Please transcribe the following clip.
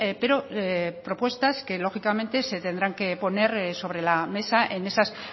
pero propuestas que lógicamente se tendrán que poner sobre la mesa en esas